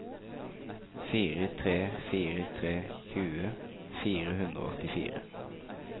fire tre fire tre tjue fire hundre og åttifire